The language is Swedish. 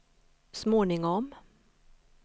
småningom